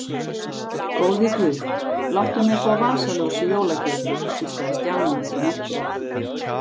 Góði guð, láttu mig fá vasaljós í jólagjöf hvíslaði Stjáni út í myrkrið.